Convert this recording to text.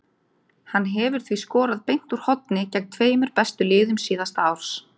Hann hefur því skorað beint úr horni gegn tveimur bestu liðum síðasta árs.